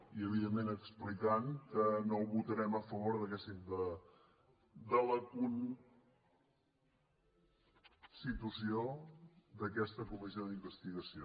i evidentment explicant que no votarem a favor de la constitució d’aquesta comissió d’investigació